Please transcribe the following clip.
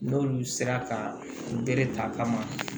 N'olu sera ka bere ta ka ma